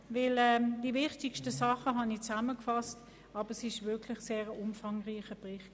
Ich werde die wichtigsten Punkte zusammenfassen, aber es handelt sich wirklich um einen sehr umfangreichen Bericht.